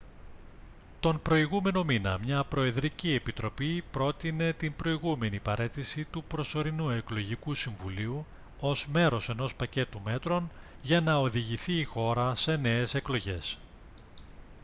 τον προηγούμενο μήνα μια προεδρική επιτροπή πρότεινε την προηγούμενη παραίτηση του προσωρινού εκλογικού συμβουλίου ως μέρος ενός πακέτου μέτρων για να οδηγηθεί η χώρα σε νέες εκλογές